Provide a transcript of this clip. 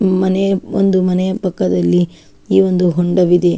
ಮನೆ ಒಂದು ಮನೆಯ ಪಕ್ಕದಲ್ಲಿ ಈ ಒಂದು ಹೊಂಡವಿದೆ.